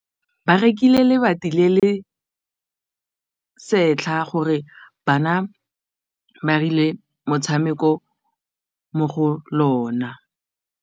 Ba rekile lebati le le setlha gore bana ba dire motshameko mo go lona.